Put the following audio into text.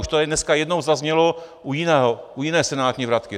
Už to tady dneska jednou zaznělo u jiné senátní vratky.